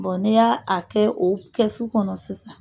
Bɔn n'i y'a kɛ o kɛsu kɔnɔ sisan